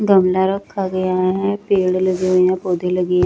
गमला रखा गया है पेड़ लगे हुए पौधे लगे--